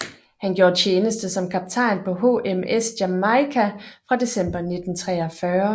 Han gjorde tjeneste som kaptajn på HMS Jamaica fra december 1943